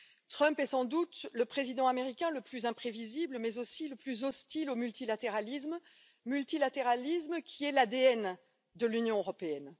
Trump est sans doute le président américain le plus imprévisible, mais aussi le plus hostile au multilatéralisme, multilatéralisme qui est l'ADN de l'Union européenne.